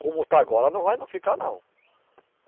Como está agora, não vai não ficar não.